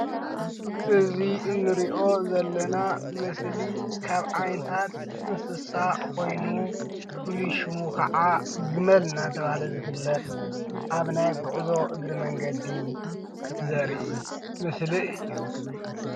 እዚ እንሪኦ ዘለና ምስሊ ካብ ዓይነታት እንስሳ ኮይኑ ፍሉይ ሽሙ ከዓ ግመል እንዳተባሃለ ዝፍለጥ አብ ናይ ጉዕዞ እግሪ መንገዲ ዘርኢ ምስሊ እዩ።